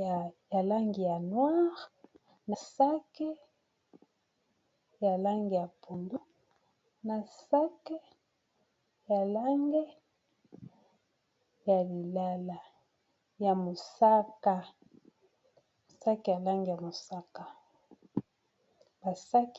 ya langi ya noire na saki ya langi ya pondu na saki ya langi ya mosaka.